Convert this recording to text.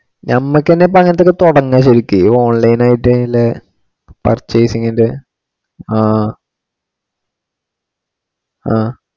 ഞമ്മക്ക് തന്നെ അങ്ങിനത്തെ ഇപ്പൊ തുടങ്ങാം ശരിക്കു online ആയിട്ടു ഇങ്ങനെ purchasing ഇന്റെ ആ ആ